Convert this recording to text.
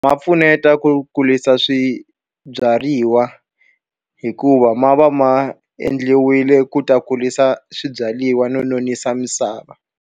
Ma pfuneta ku kurisa swibyariwa. Hikuva ma va ma endliwile ku ta kurisa swibyariwa no nonisa misava.